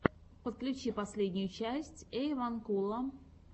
подключи последнюю часть эйванкула